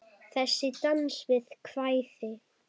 Þessi dans við kvæði.